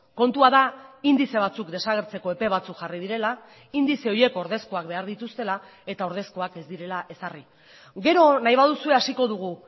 kontua da indize batzuk desagertzeko epe batzuk jarri direla indize horiek ordezkoak behar dituztela eta ordezkoak ez direla ezarri gero nahi baduzue hasiko dugu